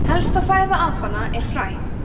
helsta fæða apanna er fræ